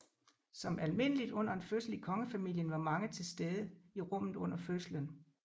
Som almindeligt under en fødsel i kongefamilien var mange tilstede i rummet under fødslen